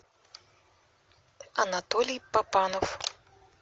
анатолий папанов